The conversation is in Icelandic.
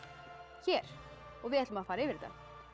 hér og við ætlum að fara yfir þetta